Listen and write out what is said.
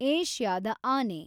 ಏಷ್ಯಾದ ಆನೆ